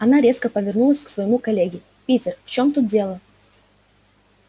она резко повернулась к своему коллеге питер в чём тут дело